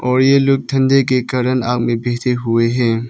और ये लोग ठंडी के कारण आग में बैठे हुए हैं।